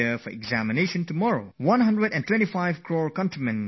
125 crore people of this country are going to take my exam